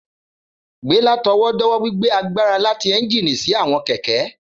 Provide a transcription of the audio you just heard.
Gbé látọwọ́dọ́wọ́ gbigbe agbara lati ẹ́njìnì si áwọn kẹkẹ.